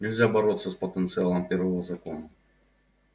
нельзя бороться с потенциалом первого закона